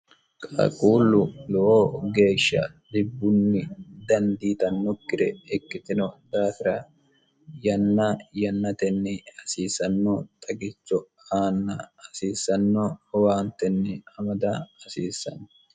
qaaquullu lowoo geeshsha dhibbunni dandiitannokkire ikkitino daafira yanna yannatenni hasiisanno xagicho aanna hasiissanno owaantenni amada hasiissanno